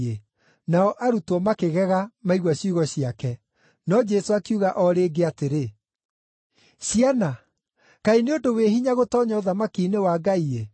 Nao arutwo makĩgega maigua ciugo ciake. No Jesũ akiuga o rĩngĩ atĩrĩ, “Ciana, kaĩ nĩ ũndũ wĩ hinya gũtoonya ũthamaki-inĩ wa Ngai-ĩ!